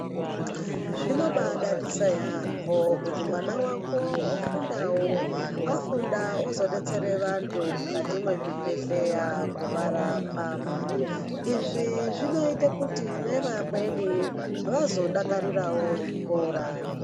Zvinobaadadisa yaemho kuti mwana wako ofundawo afunda ozodetsera vanhu mukati mwezvibhedhlera kuvarapa, izvi zvinoita kuti nevamweni vazodakarirawo zvikora.